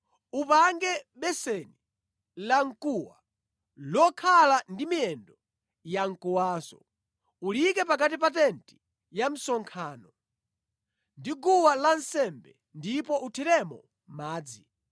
“Upange beseni lamkuwa lokhala ndi miyendo yamkuwanso. Uliyike pakati pa tenti ya msonkhano ndi guwa lansembe ndipo uthiremo madzi.